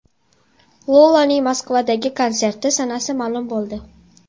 Lolaning Moskvadagi konserti sanasi ma’lum bo‘ldi.